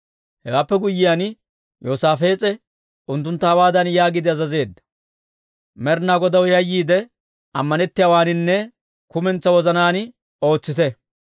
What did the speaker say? Hewaappe guyyiyaan, Yoosaafees'e unttuntta hawaadan yaagiide azazeedda; «Med'inaa Godaw yayyiide, ammanettiyaawaaninne kumentsaa wozanaan ootsite.